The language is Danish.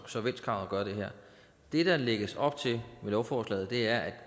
solvenskrav at gøre det der lægges op til med lovforslaget er at